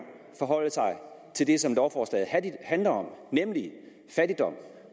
forholde sig til det som lovforslaget handler om nemlig